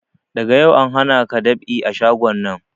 Daga yau na hanaka dab'i a shagon nan!